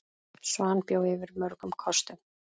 Svan bjó yfir mörgum kostum.